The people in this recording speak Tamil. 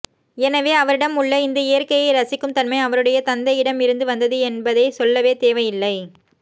எனவே அவரிடம் உள்ள இந்த இயற்கையை ரசிக்கும் தன்மை அவருடைய தந்தையிடம் இருந்து வந்தது என்பதை சொல்லவே தேவையில்லை